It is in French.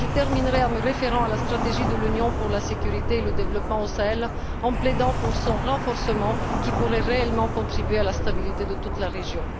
Je terminerai en me référant à la stratégie de l'Union pour la sécurité et le développement au Sahel et en plaidant pour son renforcement qui pourrait réellement contribuer à la stabilité de toute la région.